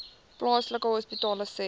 plaaslike hospitale sê